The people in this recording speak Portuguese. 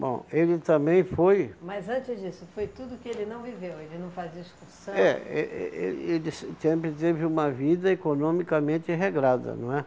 Bom, ele também foi... Mas antes disso, foi tudo que ele não viveu, ele não fazia excursão... É, eh eh ele se sempre teve uma vida economicamente regrada, não é?